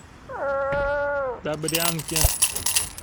добрянке